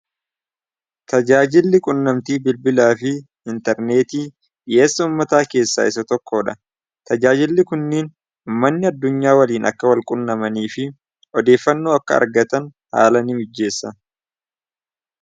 Tajaajilli quunnamtii bilbilaa fi intarneetii dhiheessoo ummataa keessaa isa tokkoo dha. Tajaajilli kunniin umanni addunyaa waliin akka wal qunnamanii fi odeeffannoo akka argatan haala nii mijjeessa.